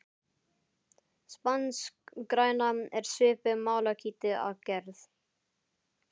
Spanskgræna er svipuð malakíti að gerð.